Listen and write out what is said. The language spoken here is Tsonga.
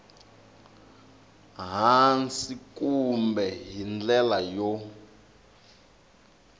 hansi kambe hi ndlela yo